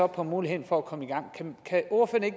på mulighederne for at komme i gang kan ordføreren